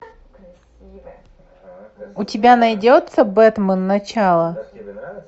у тебя найдется бэтмен начало